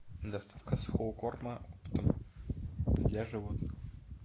доставка сухого корма оптом для животных